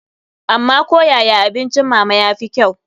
Amma ko yaya abincin mama ya fi kyau.